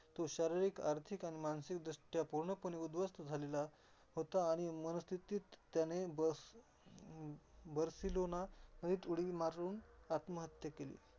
तो शारिरीक, आर्थिक आणि मानसिक दृष्टिकोनाने पूर्णपणे उद्वासन झालेला होता. आणि मनस्थितीत त्याने बस बर्सिलोनामध्ये त्यावर उडी मार आत्महत्या केली.